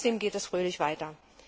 Trotzdem geht es fröhlich weiter!